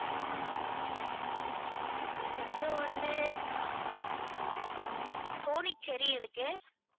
அதுக்கப்புறம் வந்து sonic cherry இருக்கு.